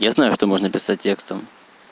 я знаю что можно писать текстом